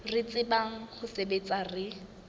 re tsebang ho sebetsa re